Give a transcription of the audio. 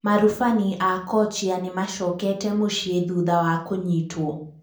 Marubani a kochia nimacokete mũcĩĩ thutha wa kunyitwo